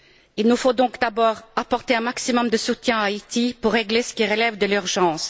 Il nous faut donc d'abord apporter un maximum de soutien à Haïti, pour régler ce qui relève de l'urgence.